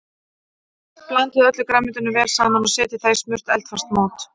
Blandið öllu grænmetinu vel saman og setjið það í smurt eldfast mót.